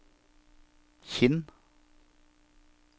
Kinn